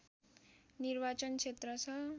निर्वाचन क्षेत्र छ